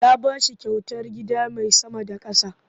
Ya ba su kyautar gida mai sama da ƙasa.